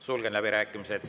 Sulgen läbirääkimised.